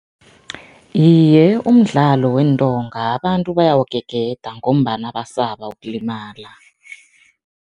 Iye, umdlalo weentonga abantu bayawugegeda ngombana basaba ukulimala.